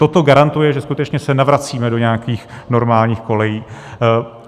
Toto garantuje, že skutečně se navracíme do nějakých normálních kolejí.